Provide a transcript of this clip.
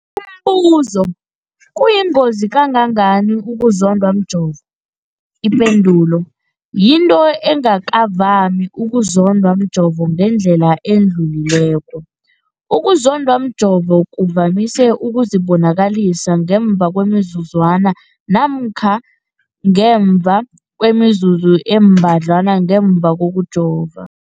Umbuzo, kuyingozi kangangani ukuzondwa mjovo? Ipendulo, yinto engakavami ukuzondwa mjovo ngendlela edluleleko. Ukuzondwa mjovo kuvamise ukuzibonakalisa ngemva kwemizuzwana namkha ngemva kwemizuzu embadlwana ngemva kokujova.